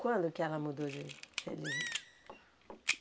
Quando que ela mudou de religião?